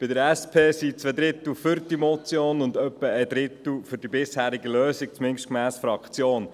Bei der SP sind zwei Drittel für diese Motion, und etwa ein Drittel für die bisherige Lösung, zumindest gemäss der Fraktion.